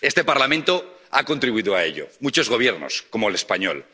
Este Parlamento ha contribuido a ello ⸺y muchos Gobiernos, como el español⸺.